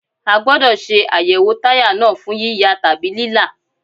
A gbódọ̀ ṣe àyẹ̀wò táyà náà fún yíya tàbí lílá.